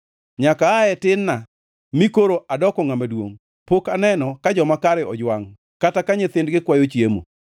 Nyaka aa e tin-na mi koro adoko ngʼama duongʼ pok aneno ka joma kare ojwangʼ, kata ka nyithindgi kwayo chiemo.